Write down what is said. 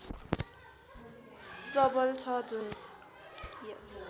प्रबल छ जुन